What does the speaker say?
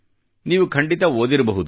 ನೀವು ಖಂಡಿತ ಓದಿರಬಹುದು